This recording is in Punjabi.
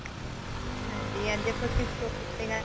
ਹਾਂਜੀ ਅੱਜ ਆਪਾਂ ਕਿਸ topic ਤੇ ਗੱਲ